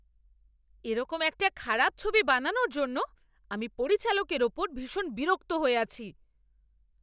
এরকম একটা খারাপ ছবি বানানোর জন্য আমি পরিচালকের ওপর ভীষণ বিরক্ত হয়ে আছি।